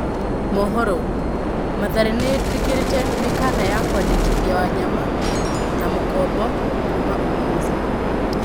(Mohoro) Mathare nĩĩtĩkĩrĩte mĩkana ya kwandĩkithia Wanyama na mũkombo kuma Ulinzi.